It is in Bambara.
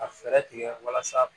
Ka fɛɛrɛ tigɛ walasa